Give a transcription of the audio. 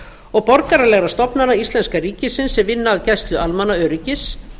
og borgaralegra stofnana íslenska ríkisins sem vinna að gæslu almannaöryggis